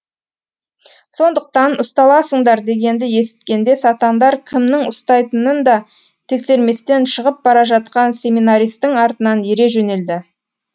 сондықтан ұсталасыңдар дегенді есіткенде сатандар кімнің ұстайтынын да тексерместен шығып бара жатқан семинаристің артынан ере жөнелді